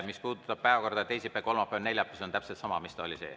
Mis puudutab päevakorda, siis teisipäev, kolmapäev, neljapäev – see on täpselt sama, mis ta oli.